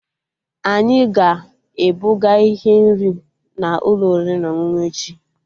Anyị ga-ebuga ihe nri n'ụlọ oriri na ọṅụṅụ echi